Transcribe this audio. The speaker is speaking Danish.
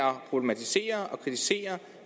problematisere og kritisere